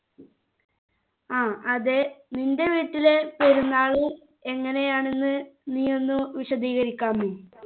ആ അതെ നിൻ്റെ വീട്ടിലെ പെരുന്നാൾ എങ്ങനെയാണെന്ന് നീ ഒന്ന് വിശദീകരിക്കാമോ